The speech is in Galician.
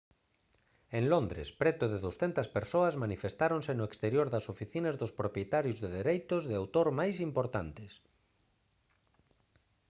en londres preto de 200 persoas manifestáronse no exterior das oficinas dos propietarios de dereitos de autor máis importantes